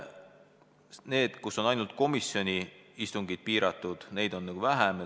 Riike, kus on ainult komisjonide istungid piiratud, on vähem.